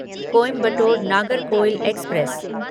Coimbatore Nagercoil express